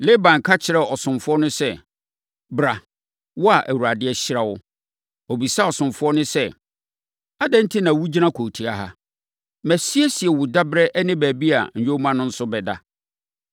Laban ka kyerɛɛ ɔsomfoɔ no sɛ, “Bra, wo a Awurade ahyira wo.” Ɔbisaa ɔsomfoɔ no sɛ, “Adɛn enti na wogyina kurotia ha? Masiesie wo daberɛ ne baabi a nyoma no nso bɛda.”